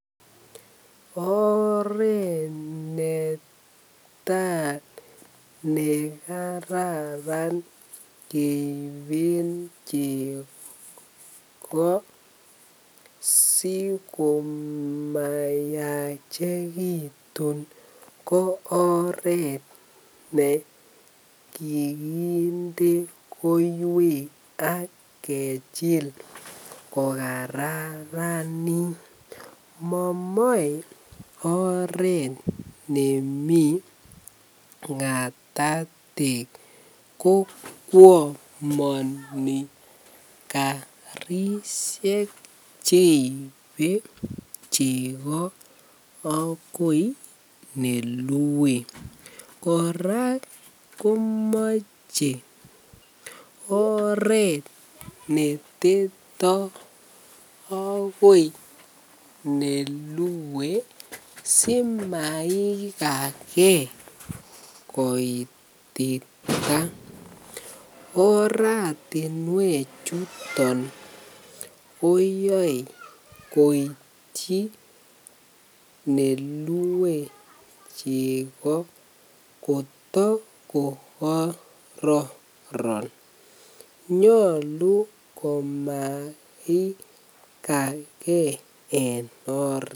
Oreet netaa nekararan keiben chekoo sikomayachekitun ko oreet nekikinde koiwek ak kechil ko kararanit momoe oreet nemii ngatatek ko kwomoni karishek cheibe cheko akoi nelwe, kora komoche oreet neteto akoi nelue simaikake koitita, oratinwe chuton koyoe koityi neluwe cheko kotokokororon, nyolu kimaikake en oreet.